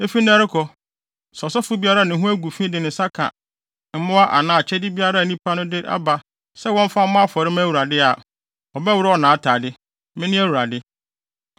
“Efi nnɛ rekɔ, sɛ ɔsɔfo biara a ne ho agu fi de ne nsa ka mmoa anaa akyɛde biara a nnipa no de aba sɛ wɔmfa mmɔ afɔre mma Awurade a, wɔbɛworɔw nʼatade. Mene Awurade.